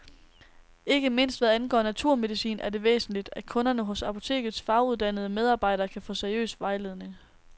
Ikke mindst hvad angår naturmedicin er det væsentligt, at kunderne hos apotekets faguddannede medarbejdere kan få seriøs vejledning.